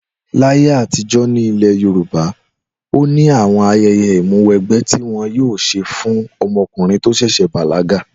Láyé àtijó̩ ní ilè̩ Yorùbá, ó ní àwo̩n aye̩ye̩ ìmúwégbé̩ ti wo̩n yóò s̩e fún o̩mo̩kùnrin tí ó s̩è̩ bàlága